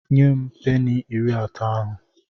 Nye m peni iri atọ ahụ!